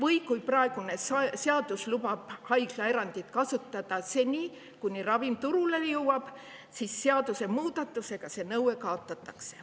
Ja kui praegune seadus lubab haiglaerandit kasutada seni, kuni ravim turule jõuab, siis seadusemuudatusega see nõue kaotatakse.